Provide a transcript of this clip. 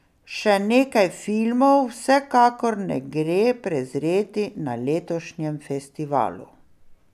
Še nekaj filmov vsekakor ne gre prezreti na letošnjem festivalu.